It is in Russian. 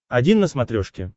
один на смотрешке